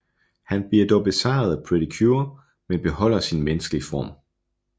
Han bliver dog besejret af Pretty Cure men beholder sin menneskelige form